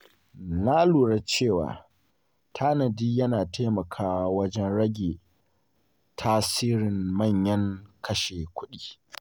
Na lura cewa tanadi yana taimakawa wajen rage tasirin manyan kashe-kuɗi.